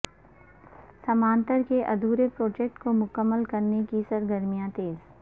سمانتر کے ادھورے پروجیکٹ کو مکمل کرنے کی سرگرمیاں تیز